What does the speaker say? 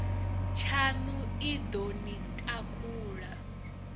tshaṋu i ḓo ni takula